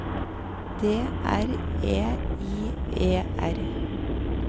D R E I E R